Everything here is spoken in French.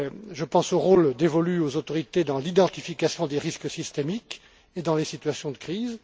Je pense au rôle dévolu aux autorités dans l'identification des risques systémiques et dans les situations de crise.